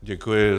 Děkuji.